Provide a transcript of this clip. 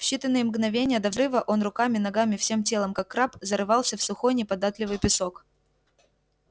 в считаные мгновения до взрыва он руками ногами всем телом как краб зарывался в сухой неподатливый песок